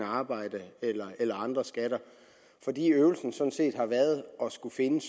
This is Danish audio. arbejde eller andre skatter fordi øvelsen sådan set har været at skulle finde